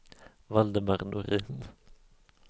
Valdemar Norin